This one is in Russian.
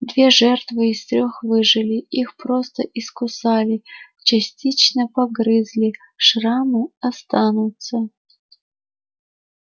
две жертвы из трёх выжили их просто искусали частично погрызли шрамы останутся